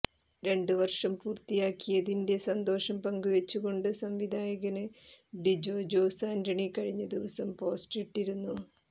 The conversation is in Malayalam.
രണ്ട് വര്ഷം പൂര്ത്തിയാക്കിയതിന്റെ സന്തോഷം പങ്കുവെച്ച് കൊണ്ട് സംവിധായകന് ഡിജോ ജോസ് ആന്റണി കഴിഞ്ഞ ദിവസം പോസ്റ്റ് ഇട്ടിരുന്നു